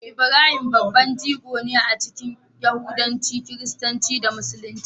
Ibrahim babban jigo ne a cikin Yahudanci, Kiristanci, da Musulunci.